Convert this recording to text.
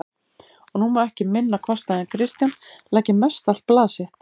Og nú má ekki minna kosta en Kristján leggi mestallt blað sitt